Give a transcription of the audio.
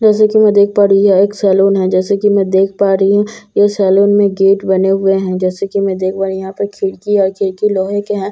जैसा कि मैं देख पा रही हूँ यह एक सैलून है जैसा कि मैं देख पा रही हूँ यह सैलून में गेट बने हुए हैं जैसे कि मैं देख पा रही हूँ यहाँ पर खिड़की है खिड़की लोहे के हैं।